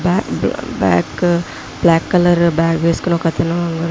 చూడడానికి ఒక పార్క్ లాగా కనపడుతుంది. Matte black colour --